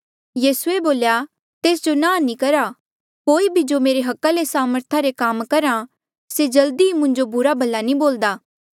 यीसूए बोल्या तेस जो नांह नी करा कोई भी जो मेरे अधिकारा ले सामर्था रे काम करहा से जल्दी ई मुंजो बुरा भला नी बोल्दा